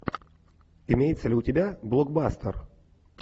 имеется ли у тебя блокбастер